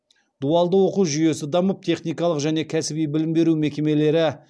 дуалды оқу жүйесі дамып техникалық және кәсіби білім беру мекемелері